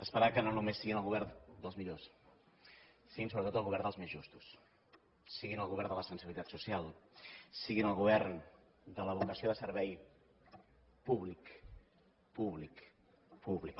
esperar que no només siguin el govern dels millors siguin sobretot els govern dels més justos siguin el govern de la sensibilitat social siguin el govern de la vocació de servei públic públic públic